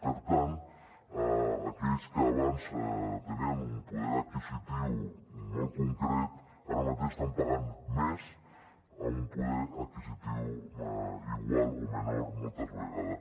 per tant aquells que abans tenien un poder adquisitiu molt concret ara mateix estan pagant més amb un poder adquisitiu igual o menor moltes vegades